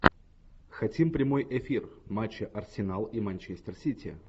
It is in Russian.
хотим прямой эфир матча арсенал и манчестер сити